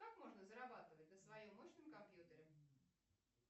как можно зарабатывать на своем мощном компьютере